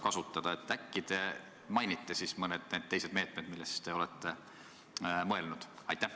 Äkki te siis nimetate mõned teised meetmed, millele te olete mõelnud?